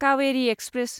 Kaveri express